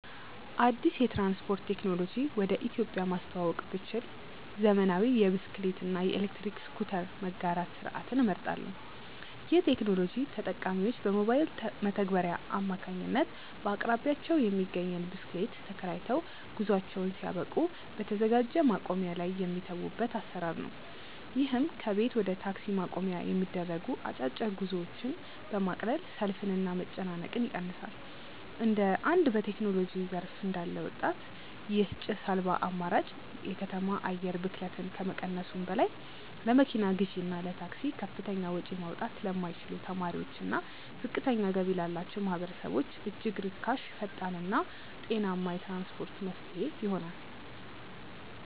አዲስ የትራንስፖርት ቴክኖሎጂ ወደ ኢትዮጵያ ማስተዋወቅ ብችል፣ ዘመናዊ የብስክሌት እና የኤሌክትሪክ ስኩተር መጋራት ስርዓትን እመርጣለሁ። ይህ ቴክኖሎጂ ተጠቃሚዎች በሞባይል መተግበሪያ አማካኝነት በአቅራቢያቸው የሚገኝን ብስክሌት ተከራይተው፣ ጉዟቸውን ሲያበቁ በተዘጋጀ ማቆሚያ ላይ የሚተዉበት አሰራር ነው። ይህም ከቤት ወደ ታክሲ ማቆሚያ የሚደረጉ አጫጭር ጉዞዎችን በማቅለል ሰልፍንና መጨናነቅን ይቀንሳል። እንደ አንድ በቴክኖሎጂ ዘርፍ እንዳለ ወጣት፣ ይህ ጭስ አልባ አማራጭ የከተማ አየር ብክለትን ከመቀነሱም በላይ፣ ለመኪና ግዢና ለታክሲ ከፍተኛ ወጪ ማውጣት ለማይችሉ ተማሪዎችና ዝቅተኛ ገቢ ላላቸው ማህበረሰቦች እጅግ ርካሽ፣ ፈጣንና ጤናማ የትራንስፖርት መፍትሄ ይሆናል።